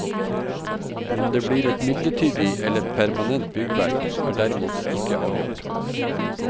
Om det blir et midlertidig eller permanent byggverk, er derimot ikke avgjort.